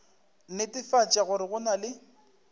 netefatša gore go na le